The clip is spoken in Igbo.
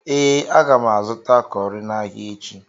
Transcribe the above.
Ee, aga m azụta cọrị n'ahịa echi.